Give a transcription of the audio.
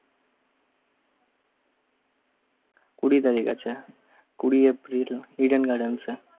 কুড়ি তারিখ আছে? কুড়ি এর দুইটা ইডেন garden এর টা